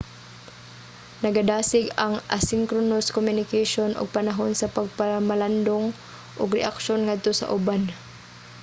nagadasig ang asynchronous communication og panahon sa pagpamalandong ug reaksyon ngadto sa uban